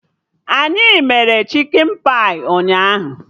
Anyị mere chikin pai ụnyaahụ